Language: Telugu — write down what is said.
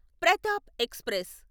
ప్రతాప్ ఎక్స్ప్రెస్